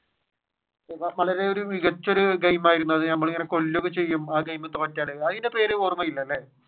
വളരെ മികച്ച ഒരു ഗെയിം ആയിരുന്നു അത് നമ്മളെ ഇങ്ങനെ കൊല്ലുക ഒക്കെ ചെയ്യും ആ ഗെയിം തോറ്റാൽ അതിന്റെ പേര് ഓര്മയില്ലല്ലേ?